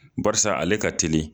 Bariisa ale ka ta teli